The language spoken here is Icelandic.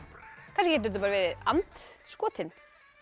kannski getur þetta verið and skotinn